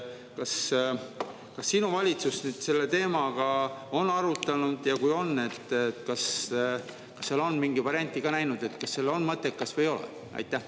Kas sinu valitsus seda teemat on arutanud ja kui on, kas on selles mingit varianti nähtud, kas see on mõttekas või ei ole?